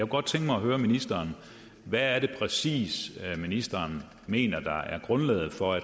godt tænke mig at høre ministeren hvad det præcis er ministeren mener er grundlaget for at